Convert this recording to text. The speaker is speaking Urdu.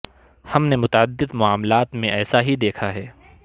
ہم نے متعدد معاملات میں ایسا ہی دیکھا ہے